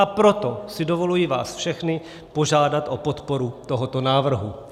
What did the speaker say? A proto si dovoluji vás všechny požádat o podporu tohoto návrhu.